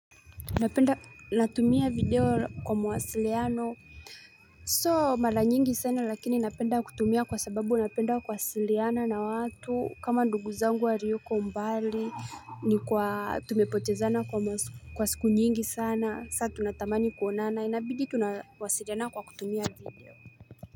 Napenda natumia video kwa mawasiliano Sio mara nyingi sana lakini napenda kutumia kwa sababu napenda kuwasiliana na watu kama ndugu zangu wa walioko mbali ni kwa tumepotezana kwa siku nyingi sana saa tunatamani kuonana inabidi tunawasiliana kwa kutumia video.